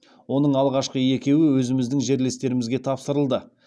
оның алғашқы екеуі өзіміздің жерлестерімізге тапсырылды